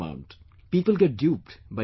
People get duped by this money trap